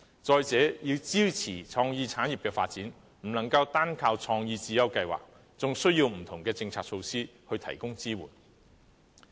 再者，要支持創意產業的發展，不能單靠創意智優計劃，還需要不同的政策措施提供支援。